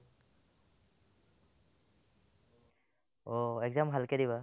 অ, exam ভালকে দিবা ।